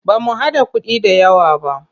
Ba mu haɗa kuɗi da yawq ba.